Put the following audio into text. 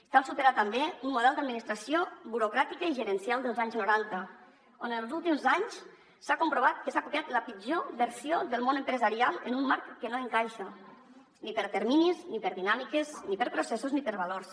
cal superar també un model d’administració burocràtica i gerencial dels anys noranta on els últims anys s’ha comprovat que s’ha copiat la pitjor versió del món empresarial en un marc que no encaixa ni per terminis ni per dinàmiques ni per processos ni per valors